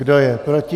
Kdo je proti?